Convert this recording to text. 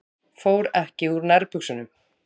Fór ekki úr nærbuxunum.